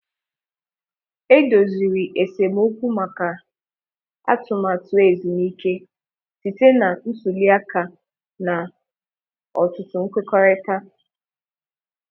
E doziri esemokwu maka atụmatụ ezumike site na ntuli aka na ọtụtụ nkwekọrịta.